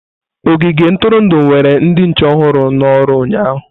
Ogige ntụrụndụ were ndị nche ọhụrụ n'oru ụnyahụ.